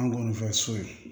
An kɔni fɛ so